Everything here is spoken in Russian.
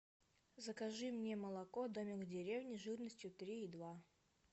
закажи мне молоко домик в деревне жирностью три и два